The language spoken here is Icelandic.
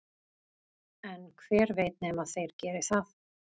en hver veit nema þeir geri það